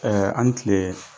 ani tile.